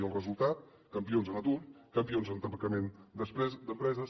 i el resultat campions en atur campions en tancament d’empreses